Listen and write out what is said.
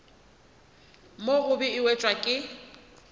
mo gobe e wetšwa ke